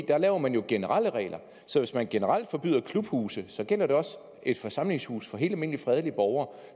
der laver man jo generelle regler så hvis man generelt forbyder klubhuse så gælder det også forsamlingshuse for helt almindelige fredelige borgere